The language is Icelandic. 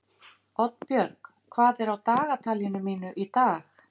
Oddbjörg, hvað er á dagatalinu mínu í dag?